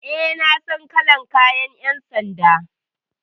E, na san kalar kayan ƴan sanda.